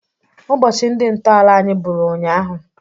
Ụbọchị ndị ntọala anyị bụrụ ụnyaahụ.